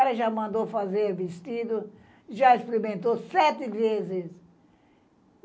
Ela já mandou fazer vestido, já experimentou sete vezes.